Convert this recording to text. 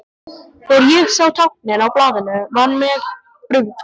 Þegar ég sá táknin á blaðinu var mér brugðið.